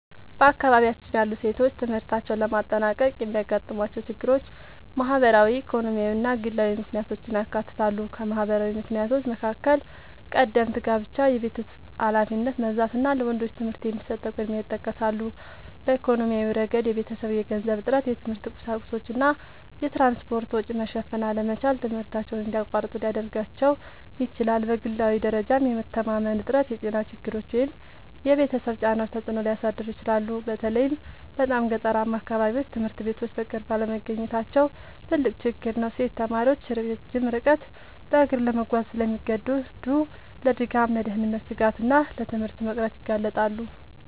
በአካባቢያችን ያሉ ሴቶች ትምህርታቸውን ለማጠናቀቅ የሚያጋጥሟቸው ችግሮች ማህበራዊ፣ ኢኮኖሚያዊ እና ግላዊ ምክንያቶችን ያካትታሉ። ከማህበራዊ ምክንያቶች መካከል ቀደምት ጋብቻ፣ የቤት ውስጥ ኃላፊነት መብዛት እና ለወንዶች ትምህርት የሚሰጠው ቅድሚያ ይጠቀሳሉ። በኢኮኖሚያዊ ረገድ የቤተሰብ የገንዘብ እጥረት፣ የትምህርት ቁሳቁሶች እና የትራንስፖርት ወጪ መሸፈን አለመቻል ትምህርታቸውን እንዲያቋርጡ ሊያደርጋቸው ይችላል። በግላዊ ደረጃም የመተማመን እጥረት፣ የጤና ችግሮች ወይም የቤተሰብ ጫናዎች ተጽዕኖ ሊያሳድሩ ይችላሉ። በተለይ በጣም ገጠራማ አካባቢዎች ትምህርት ቤቶች በቅርብ አለመገኘታቸው ትልቅ ችግር ነው። ሴት ተማሪዎች ረጅም ርቀት በእግር ለመጓዝ ስለሚገደዱ ለድካም፣ ለደህንነት ስጋት እና ለትምህርት መቅረት ይጋለጣሉ